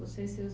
Você e seus